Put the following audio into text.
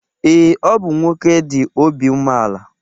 Ee, ọ bụ nwoke dị obi umeala